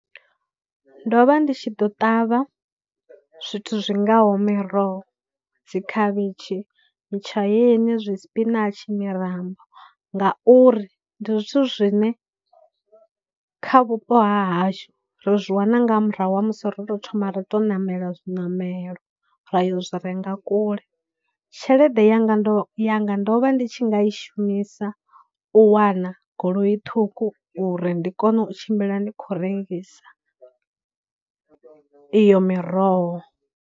Ndo vha ndi tshi ḓo ṱavha zwithu zwi ngaho miroho, dzikhavhitshi, mitshaeni zwispinatshi, mirambo, ngauri ndi zwithu zwine kha vhupo ha hashu ri zwi wana nga murahu ha musi ro tou thoma ra tou ṋamela zwiṋamelo ra yo zwi renga kule. Tshelede yanga ndo yanga ndo vha ndi tshi nga i shumisa u wana goloi ṱhukhu uri ndi kone u tshimbila ndi khou rengisa iyo miroho.